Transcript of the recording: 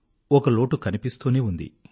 ఒక లోటు కనిపిస్తూనే ఉండింది